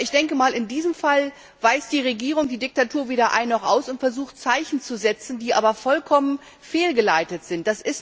Aber in diesem Fall weiß die Regierung, die Diktatur, weder ein noch aus und versucht, Zeichen zu setzen, die aber vollkommen fehlgeleitet sind.